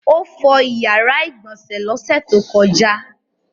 Ó fọ ìyàrá-ìgbọ̀nsẹ̀ lọ́sẹ̀ tó kọjá?